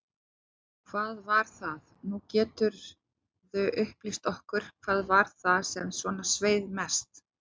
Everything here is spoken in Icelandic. Hvað var það, nú geturðu upplýst okkur, hvað var það sem svona sveið mest?